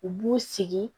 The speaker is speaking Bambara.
U b'u sigi